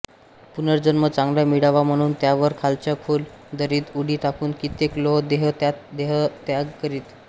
पुनर्जन्म चांगला मिळावा म्हणून त्यावरून खालच्या खोल दरीत उडी टाकून कित्येक लोक देहत्याग करीत